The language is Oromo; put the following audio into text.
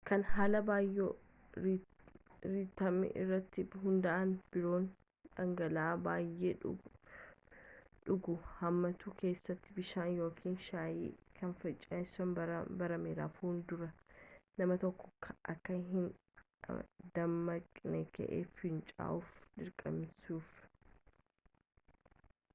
kan haala baayoo-riitimi irratti hunda’aan biroon dhangala’aa baayee dhuguu hammatu keessatuu bishaan ykn shaayii kan finceessisuun baraame rafuun dura nama tokko akka inni dammaqee ka’ee finca’uuf dirqamsisuun